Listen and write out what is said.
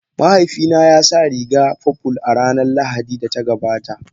Mahaifina ya sa rigar purple a ranar Lahadin da ta gabata.